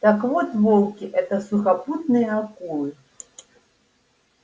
так вот волки это сухопутные акулы